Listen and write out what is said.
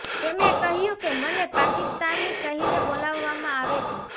તેમણે કહ્યુ કે મને પાકિસ્તાની કહીને બોલાવવામાં આવે છે